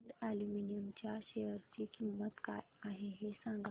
Hind aluminium च्या share ची किंमत काय आहे हे सांगा